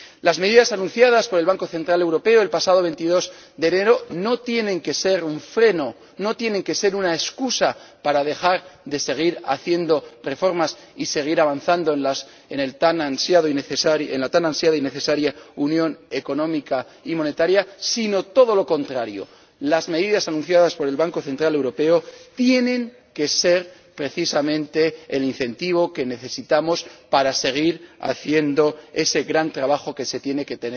Las medidas anunciadas por el Banco Central Europeo el pasado 22 de enero no tienen que ser un freno, no tienen que ser una excusa, para dejar de seguir haciendo reformas y seguir avanzando en la tan ansiada y necesaria Unión Económica y Monetaria, sino todo lo contrario las medidas anunciadas por el Banco Central Europeo tienen que ser precisamente el incentivo que necesitamos para seguir haciendo ese gran trabajo que se tiene que